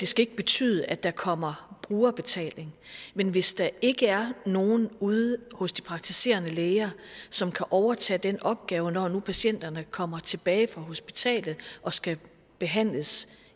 skal betyde at der kommer brugerbetaling men hvis der ikke er nogen ude hos de praktiserende læger som kan overtage den opgave når nu patienterne kommer tilbage fra hospitalet og skal behandles